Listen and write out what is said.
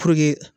Puruke